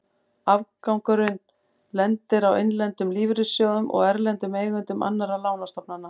Afgangurinn lendir á innlendum lífeyrissjóðum og erlendum eigendum annarra lánastofnana.